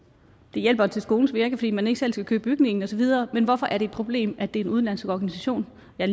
hjælper til skolens virke fordi man ikke selv skal købe bygningen og så videre men hvorfor er det et problem at det er en udenlandsk organisation jeg